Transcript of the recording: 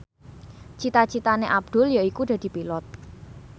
cita citane Abdul yaiku dadi Pilot